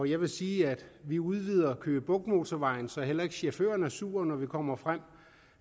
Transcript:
jeg vil sige at vi udvider køge bugt motorvejen så heller ikke chaufføren er sur når vi kommer frem